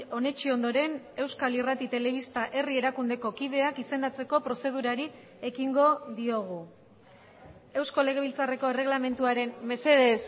onetsi ondoren euskal irrati telebista herri erakundeko kideak izendatzeko prozedurari ekingo diogu eusko legebiltzarreko erreglamenduaren mesedez